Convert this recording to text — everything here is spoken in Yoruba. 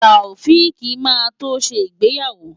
Taofiq máa tó ṣe ìgbéyàwó.